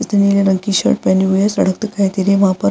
इसने नील रंग की शर्ट पहनी हुई है सड़क दिखाई दे रही है वहाँ पर |